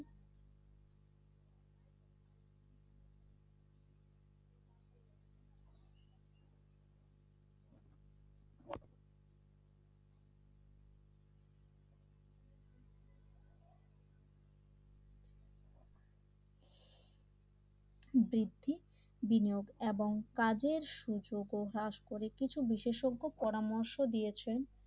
বৃদ্ধি বিনিয়োগ এবং কাজের সুযোগও হ্রাস করে কিছু বিশেষজ্ঞ পরামর্শ দিয়েছেন